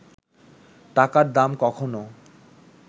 টাকার দাম কখনও